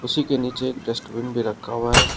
कुर्सी के नीचे एक डस्टबिन भी रखा हुआ है।